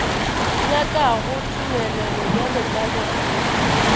nyakago tumelelo bjalo ka lekgotla